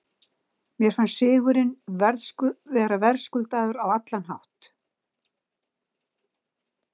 Mér fannst sigurinn vera verðskuldaður á allan hátt.